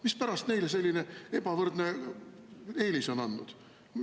Mispärast neile selline ebavõrdne eelis on antud?